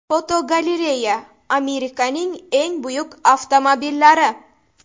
Fotogalereya: Amerikaning eng buyuk avtomobillari.